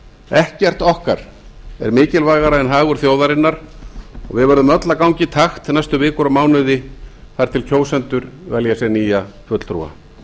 ekkert okkar er mikilvægara en hagur þjóðarinnar og við verðum öll að ganga í takt næstu vikur og mánuði þar til kjósendur velja sér nýja fulltrúa